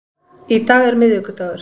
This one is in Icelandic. Í dag er miðvikudagur.